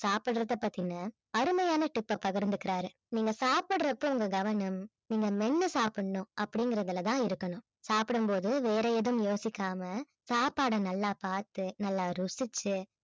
சாப்பிடுறதை பத்தின அருமையான tip அ பகிர்ந்துக்கிறாரு. நீங்க சாப்பிடுறப்போ உங்க கவனம் நீங்க மென்னு சாப்பிடணும் அப்படிங்கறதுல தான் இருக்கணும் சாப்பிடும் போது வேற எதுவும் யோசிக்காம சாப்பாட நல்லா பார்த்து நல்லா ருசிச்சு